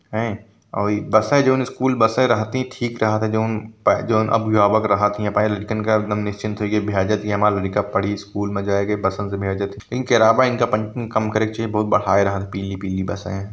है और इ बस है जो नि स्कूल बस ये रहती थी ऐ जाते जो न अ अ बग रहत पिली पिली बस है।